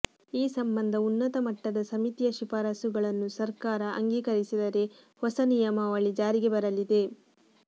ಈ ಸಂಬಂಧ ಉನ್ನತ ಮಟ್ಟದ ಸಮಿತಿಯ ಶಿಫಾರಸ್ಸುಗಳನ್ನು ಸರ್ಕಾರ ಆಂಗೀಕರಿಸಿದರೆ ಹೊಸ ನಿಯಮಾವಳಿ ಜಾರಿಗೆ ಬರಲಿದೆ